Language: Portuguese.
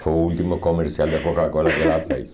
Foi o último comercial de Coca-Cola que ela fez.